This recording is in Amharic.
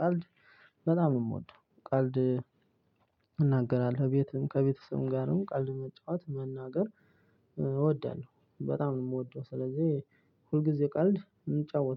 ቀልድ በጣም ነው የምወደው ቀልድ። እናገራለሁ ቤትም ከቤተሰብም ጋርም ቀልድ መጫወት መናገር እወዳለሁ። በጣም ነው የምወደው ስለዚህ ሁልጊዜ ቀልድ እንጫወታለን